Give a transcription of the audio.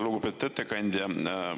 Lugupeetud ettekandja!